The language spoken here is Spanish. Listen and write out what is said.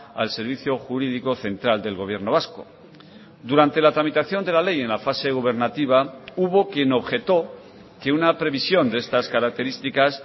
al servicio jurídico central del gobierno vasco durante la tramitación de la ley en la fase gubernativa hubo quien objetó que una previsión de estas características